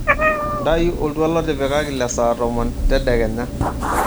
ntayu oltuala otipikaki le saa tomon tedekenya